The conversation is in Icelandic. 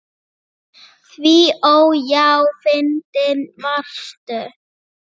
Því ó, já, fyndin varstu.